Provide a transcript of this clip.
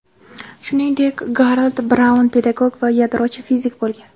Shuningdek, Garold Braun pedagog va yadrochi fizik bo‘lgan.